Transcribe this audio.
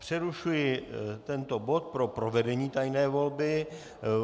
Přerušuji tento bod pro provedení tajné volby.